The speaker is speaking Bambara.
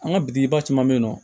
An ka biba caman be yen nɔ